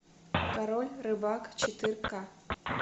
король рыбак четыре к